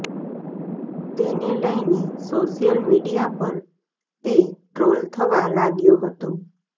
તેને લઈને social media પર તે ટ્રોલ થવા લાગ્યો હતો